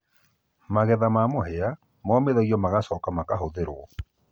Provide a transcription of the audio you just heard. magetha ma mũhĩa momĩthĩo nĩmacokaga makahũhũo